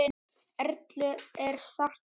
Erlu er sárt saknað.